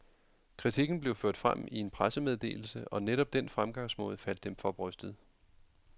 Kritikken blev ført frem i en pressemeddelse, og netop den fremgangsmåde faldt dem for brystet.